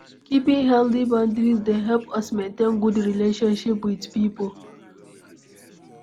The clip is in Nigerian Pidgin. Keeping healthy boundries dey help us maintain good relationship with pipo